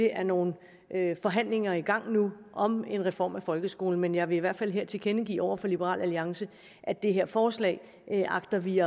er nogle forhandlinger i gang om en reform af folkeskolen men jeg vil i hvert fald her tilkendegive over for liberal alliance at det her forslag agter vi